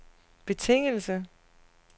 betingelse